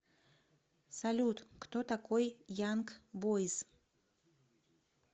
салют кто такой янг бойз